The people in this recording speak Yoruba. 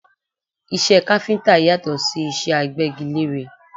Iṣẹ́ káfíńtà yàtọ̀ sí iṣẹ́ agbẹ́gilére